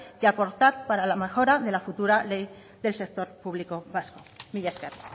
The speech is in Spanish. y acordar para la mejora de la futura ley del sector público vasco mila esker